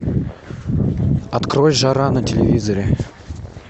открой жара на телевизоре